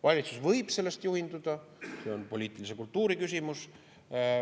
Valitsus võib sellest juhinduda, see on poliitilise kultuuri küsimus.